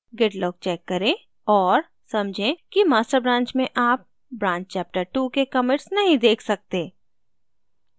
git log check करें और समझें कि master branch में आप branch chaptertwo के commits नहीं check सकते